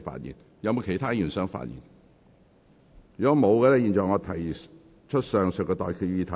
如果沒有，我現在向各位提出上述待決議題。